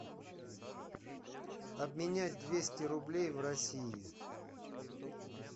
обменять двести рублей в россии